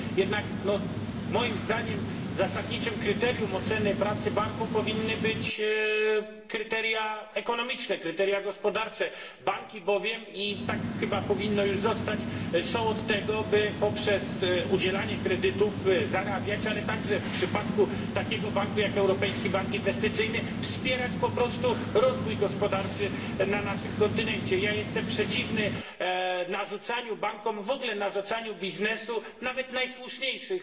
Jednak, moim zdaniem, zasadniczym kryterium oceny pracy banku powinny być kryteria ekonomiczne, kryteria gospodarcze, banki bowiem i tak chyba powinno już zostać są od tego, by poprzez udzielanie kredytów zarabiać, ale także w przypadku takiego banku jak Europejski Bank Inwestycyjny wspierać po prostu rozwój gospodarczy na naszym kontynencie. Jestem przeciwny narzucaniu bankom, w ogóle narzucaniu biznesowi nawet najsłuszniejszych